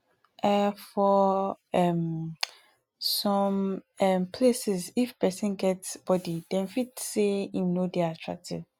um for um some um places if person get body dem fit sey im no dey attractive